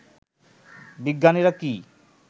বিজ্ঞানীরা কি